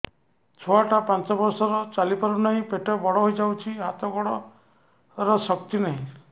ଛୁଆଟା ପାଞ୍ଚ ବର୍ଷର ଚାଲି ପାରୁନାହଁ ପେଟ ବଡ ହୋଇ ଯାଉଛି ହାତ ଗୋଡ଼ର ଶକ୍ତି ନାହିଁ